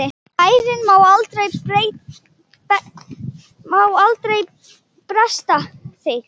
Bænin má aldrei bresta þig!